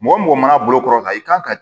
Mɔgɔ mɔgɔ mana bolokɔrɔ kan i kan ka